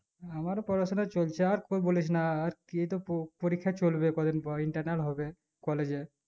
আমার পড়াশোনা চলছে আর কোই বলিস না আর কি তো পোপরীক্ষা চলবে কদিন পর internal হবে collage এ